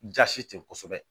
Jasi ten kosɛbɛ